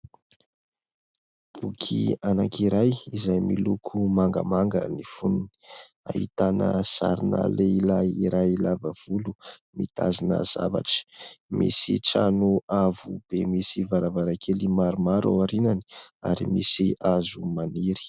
Boky anankiray izay miloko mangamanga ny foniny, ahitana sarina lehilahy iray lava volo mitazona zavatra ; misy trano avo be misy varavarakely maromaro ao aoriany ary misy hazo maniry.